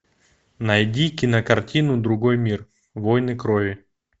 найди кинокартину другой мир войны крови